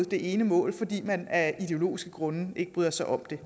det ene mål fordi man af ideologiske grunde ikke bryder sig om det